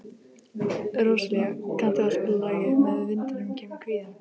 Róselía, kanntu að spila lagið „Með vindinum kemur kvíðinn“?